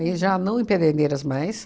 já não em Pederneiras mais.